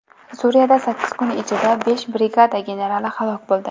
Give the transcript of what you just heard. Suriyada sakkiz kun ichida besh brigada generali halok bo‘ldi.